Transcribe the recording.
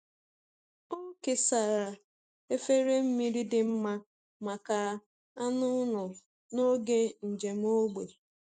Ọ kesara efere mmiri dị mma maka anụ ụlọ n’oge njem ógbè.